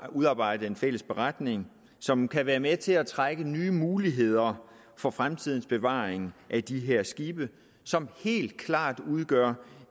udarbejdet en fælles beretning som kan være med til at trække nye muligheder op for fremtidens bevaring af de her skibe som helt klart udgør